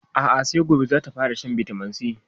A'a sai gobe zata fara shan bitaminsi